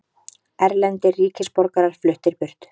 Erlendir ríkisborgarar fluttir burt